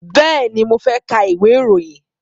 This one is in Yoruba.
Bẹ́ẹ̀ni, mo fẹ́ ka ìwé ìròyìn.